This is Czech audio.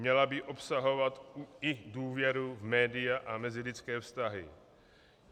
Měla by obsahovat i důvěru v média a mezilidské vztahy.